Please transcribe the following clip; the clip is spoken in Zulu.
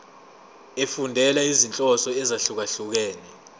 efundela izinhloso ezahlukehlukene